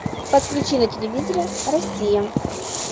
подключи на телевизоре россия